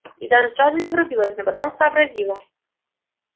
и даже сразу не врубилась но потом сообразила